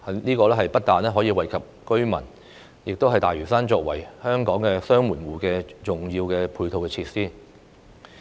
這不但可以惠及居民，亦是大嶼山作為香港"雙門戶"的重要配套設施。